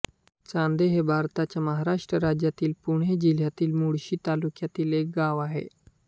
चांदे हे भारताच्या महाराष्ट्र राज्यातील पुणे जिल्ह्यातील मुळशी तालुक्यातील एक गाव आहे